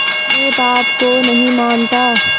मैं पाप को नहीं मानता